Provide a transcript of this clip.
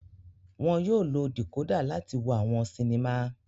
Wọn yóò lo decoder láti wo awọn sinima